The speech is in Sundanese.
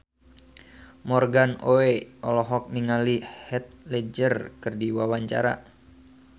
Morgan Oey olohok ningali Heath Ledger keur diwawancara